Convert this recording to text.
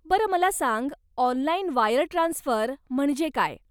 बर मला सांग, ऑनलाइन वायर ट्रान्सफर म्हणजे काय?